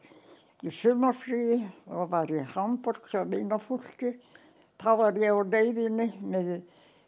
í sumarfríi og var í Hamborg hjá vinafólki þá var ég á leiðinni með